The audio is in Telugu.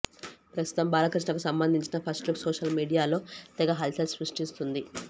ప్రస్తుతం బాలకృష్ణకు సంబంధించిన ఫస్ట్ లుక్ సోషల్ మీడియాలో తెగ హల్చల్ సృష్టిస్తోంది